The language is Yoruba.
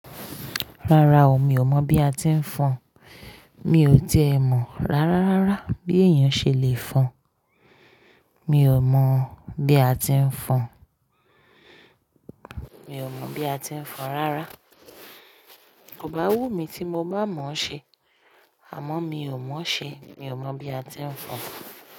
Rárá o, mi ò mọ̀ bí a ti ń fọn. Mi ò ti è mọ̀ rárá rárá bí èèyàn ṣe lè fọn. Mi ò mọ̀ bí a ti ń fọn. Mi ò mọ̀ bí a ti ń fọn rárá. Kò bá wù mí tí mo bá mọ̀ ọ́ ṣe. Àmọ́ mi ò mọ̀ ọ́ ṣe. Mi ò mọ̀ bí a ti ń fọn.